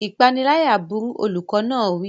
Ìpániláyà burú! Olùkọ́ náà wí.